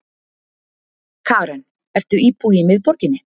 Karen: Ertu íbúi í miðborginni?